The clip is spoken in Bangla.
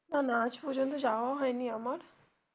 না না আজ পর্যন্ত যাওয়া হয়নি আমার.